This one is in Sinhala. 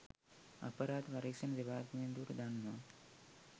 අපරාධ පරීක්ෂණ දෙපාර්තමේන්තුවට දන්වා